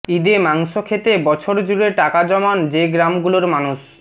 ঈদে মাংস খেতে বছরজুড়ে টাকা জমান যে গ্রামগুলোর মানুষ